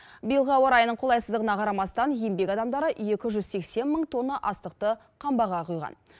биылғы ауа райының қолайсыздығына қарамастан еңбек адамдары екі жүз сексен мың тонна астықты қамбаға құйған